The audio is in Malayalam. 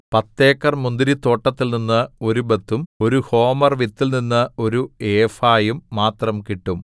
പത്തേക്കർ മുന്തിരിത്തോട്ടത്തിൽനിന്ന് ഒരു ബത്തും ഒരു ഹോമർ വിത്തിൽനിന്ന് ഒരു ഏഫായും മാത്രം കിട്ടും